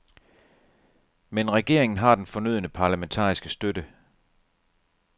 Men regeringen har den fornødne parlamentariske støtte.